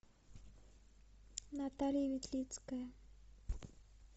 наталья ветлицкая